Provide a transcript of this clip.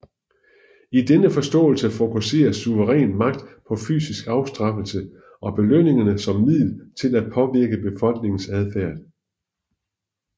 I denne forståelse fokuserer suveræn magt på fysisk afstraffelse og belønninger som middel til at påvirke befolkningens adfærd